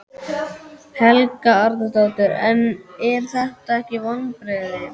Helga Arnardóttir: En eru þetta ekki vonbrigði?